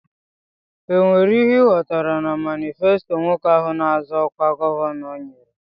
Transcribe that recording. E nwere ihe I ghọtara na manifesto nwoke ahụ na-azọ ọkwa gọvanọ nyere?